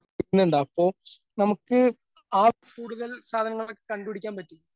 അപ്പൊ നമുക്ക് ആ ആ കൂടുതൽ സ്ഥലങ്ങളൊക്കെ കണ്ട് പിടിക്കാൻ പറ്റി.